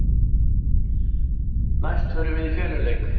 Næst förum við í feluleik.